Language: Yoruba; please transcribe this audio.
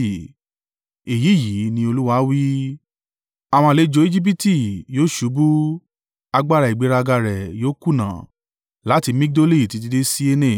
“ ‘Èyí yìí ní Olúwa wí: “ ‘Àwọn àlejò Ejibiti yóò ṣubú agbára ìgbéraga rẹ yóò kùnà láti Migdoli títí dé Siene,